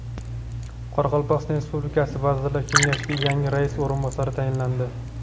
Qoraqalpog‘iston Respublikasi Vazirlar Kengashiga yangi rais o‘rinbosari tayinlandi.